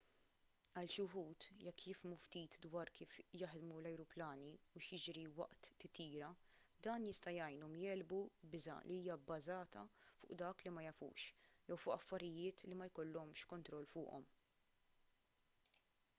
għal xi wħud jekk jifhmu ftit dwar kif jaħdmu l-ajruplani u x'jiġri waqt titjira dan jista' jgħinhom jegħlbu biża' li hija bbażata fuq dak li ma jafux jew fuq affarijiet li ma jkollhomx kontroll fuqhom